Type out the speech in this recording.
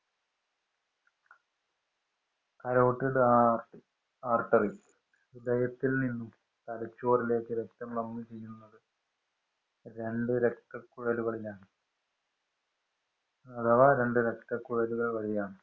artery ഹൃദയത്തില്‍ നിന്നും തലച്ചോറിലേക്ക് രക്തം പമ്പ് ചെയ്യുന്നത്. രണ്ടു രക്തക്കുഴലിലാണ്. അഥവാ രക്തക്കുഴലുകള്‍ വഴിയാണ്.